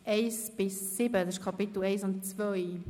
Das entspricht den Kapiteln 1 und 2.